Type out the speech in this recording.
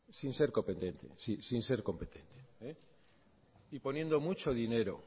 sin ser competente y poniendo mucho dinero